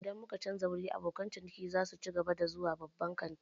Idan muka canza wuri, abokan ciniki za su cigaba da zuwa babban kantin?